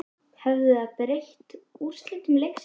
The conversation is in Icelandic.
Hefði það breytt úrslitum leiksins?